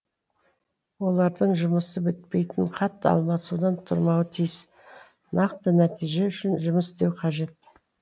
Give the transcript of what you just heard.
олардың жұмысы бітпейтін хат алмасудан тұрмауы тиіс нақты нәтиже үшін жұмыс істеуі қажет